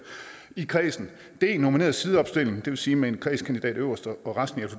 i kredsen d nomineret sideopstilling det vil sige med en kredskandidat øverst og resten i